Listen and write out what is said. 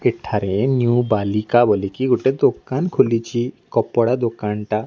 ଏଠାରେ ନିଉ ବାଲିକା ବୋଲିକି ଗୋଟେ ଦୋକାନ ଖୋଲିଛି କପଡ଼ା ଦୋକାନଟା --